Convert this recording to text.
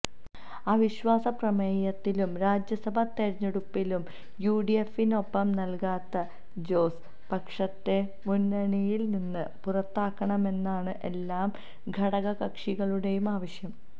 അവിശ്വാസ പ്രമേയത്തിലും രാജ്യസഭാ തെരഞ്ഞെടുപ്പിലും യുഡിഎഫിനൊപ്പം നിൽക്കാത്ത ജോസ് പക്ഷത്തെ മുന്നണിയില് നിന്ന് പുറത്താക്കണമെന്നാണ് എല്ലാ ഘടകക്ഷികളുടെയും ആവശ്യം